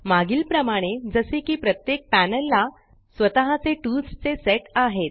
मागील प्रमाणे जसे की प्रत्येक पॅनल ला स्वःताचे टूल्स चे सेट आहेत